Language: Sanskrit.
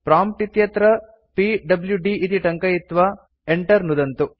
प्रॉम्प्ट् इत्यत्र पीडब्ल्यूडी इति टङ्कयित्वा enter नुदन्तु